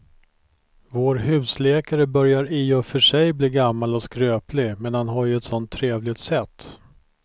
Vår husläkare börjar i och för sig bli gammal och skröplig, men han har ju ett sådant trevligt sätt!